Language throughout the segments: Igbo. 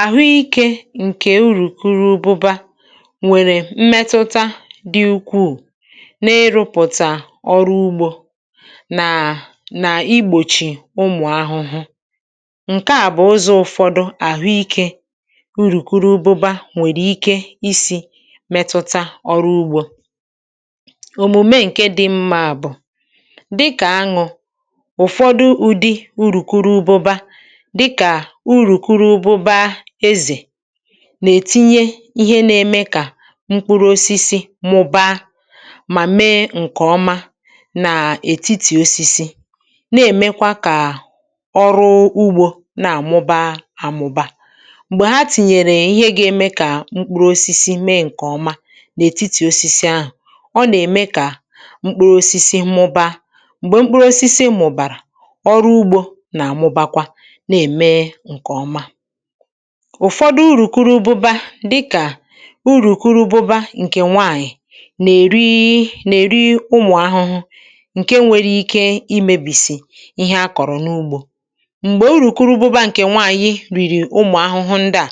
àhụikė ǹkè urùkuru ùbụbȧ nwèrè mmetuta dị̇ ukwuu n’ịrụ̇pụ̀tà ọrụ ugbȯ um naà nà-igbòchì ụmụ̀ ahụhụ ǹke à bụ̀ ụzọ̇ ụfọdụ àhụikė urùkuru ùbụbȧ nwèrè ike isi̇ metuta ọrụ ugbȯ òmume ǹke dị̇ mmȧ bụ̀ dịkà aṅụ̀ ụ̀fọdụ ụ̀dị urùkuru ùbụbȧ nà-ètinye ihe n’ème kà mkpụrụ osisi mụ̇ba mà mee ǹkè ọma nà ètitì osisi na-èmekwa kà ọrụ ugbȯ na-àmụba àmụba m̀gbè ha tinyèrè ihe ga-ème kà mkpụrụ osisi mee ǹkè ọma n’ètitì osisi ahụ̀ ọ nà-ème kà mkpụrụ osisi mụba m̀gbè mkpụrụ osisi mụ̇bàrà ọrụ ugbȯ na-àmụbakwa na-ème ụ̀fọdụ urù kuru ụbụba dịkà urù kuru ụbụba ǹkè nwaànyị̀ nà-èri nà-èri ụmụ̀ ahụhụ ǹke nwere ike imėbìsì ihe a kọ̀rọ̀ n’ugbȯ um m̀gbè uru̇ kuru ụbụba ǹkè nwaànyị rìrì ụmụ̀ ahụhụ ndịà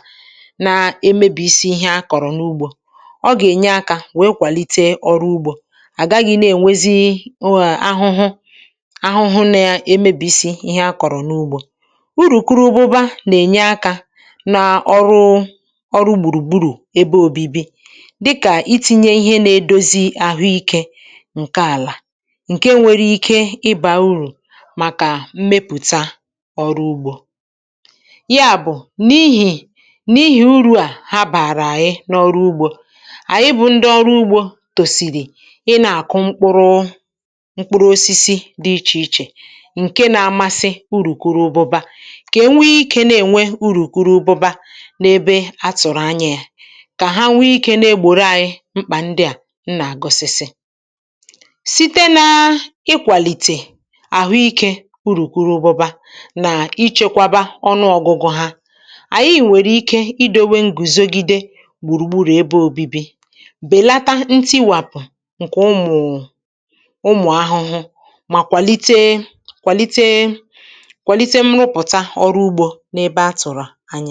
na-emėbìsi ihe a kọ̀rọ̀ n’ugbȯ ọ gà-ènye akȧ wèe kwàlite ọrụ ugbȯ àga gị̇ na-ènwezi ụwà ahụhụ ahụhụnȧ ya emėbìsi ihe a kọ̀rọ̀ n’ugbȯ n’ọrụ ọrụ gbùrùgburù ebe òbibi dịkà iti̇nye ihe na-edozi ahụike ǹke àlà ǹke nwere ike ịbȧ urù màkà mmepụ̀ta ọrụ ugbȯ ya bụ̀ n’ihì n’ihì uru̇ à ha bàrà àyị n’ọrụ ugbȯ àyị bụ̇ ndị ọrụ ugbȯ tòsìrì ị nà-àkụ mkpụrụ mkpụrụ osisi dị ichè ichè ǹke na-amasị uru kụrụ bụ̇ba n’ebe atụ̀rụ̀ anya yȧ kà ha nwee ikė na-egbòro ànyị mkpà ndị à n nà-àgọ̀sìsì site n’ịkwàlìtè àhụikė urù kuru obụbȧ um nà ichėkwȧbȧ ọnụ ọgụgụ ha ànyị ị̀ nwèrè ike idȯwė ngùzogide gbùrùgburù ebe òbibi bèlata ntiwapù ǹkè ụmụ̀ ụmụ̀ ahụhụ mà kwàlite kwàlite ihe ọ̀zọ à bụ̀ ebe a tụ̀rụ̀ anya ofụ̀